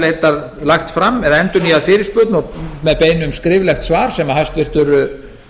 ég hef lagt fram eða endurnýjað fyrirspurn með beiðni um skriflegt svar sem hæstvirtur